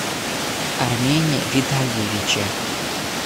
армене витальевиче